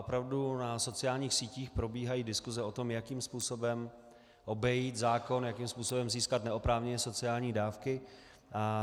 Opravdu na sociálních sítích probíhají diskuse o tom, jakým způsobem obejít zákon, jakým způsobem získat neoprávněně sociální dávky.